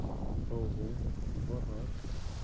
ого богатый